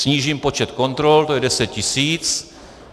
Snížím počet kontrol, to je 10 tisíc.